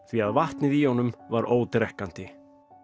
því að vatnið í honum var ódrekkandi